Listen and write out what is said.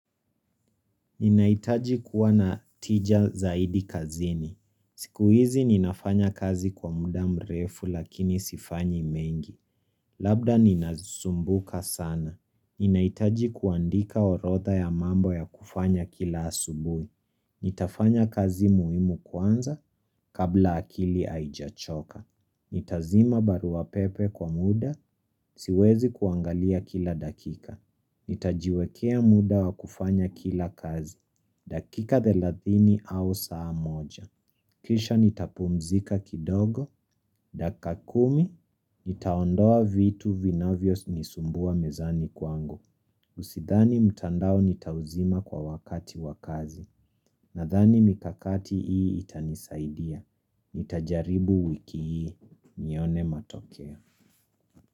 Ninaitaji kuwa na tija zaidi kazini. Siku hizi ninafanya kazi kwa muda mrefu lakini sifanyi mengi. Labda ninazumbuka sana. Ninaitaji kuandika orodha ya mambo ya kufanya kila asubuhi. Nitafanya kazi muhimu kwanza kabla akili haijachoka Nitazima barua pepe kwa muda siwezi kuangalia kila dakika Nitajiwekea muda wa kufanya kila kazi dakika thelathini au saa moja Kisha nitapumzika kidogo Dakikakumi, nitaondoa vitu vinavyo nisumbua mezani kwangu Sidhani mtandao nitauzima kwa wakati wakazi Nadhani mikakati hii itanisaidia, nitajaribu wiki hii nione matokeo.